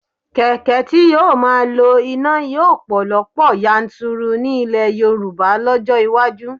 Kẹ̀kẹ́ tí yóò máa lo iná yóò pọ̀ lọ́pọ̀ yanturu ní ilẹ̀ Yorùbá lọ́jọ́ iwájú